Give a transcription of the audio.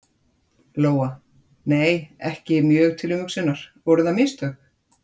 Lóa: Nei, ekki mjög til umhugsunar, voru það mistök?